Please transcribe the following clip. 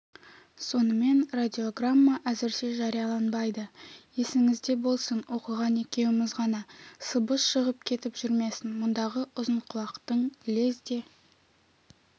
сонымен радиограмма әзірше жарияланбайды есіңізде болсын оқыған екеуміз ғана сыбыс шығып кетіп жүрмесін мұндағы ұзынқұлақтың лезде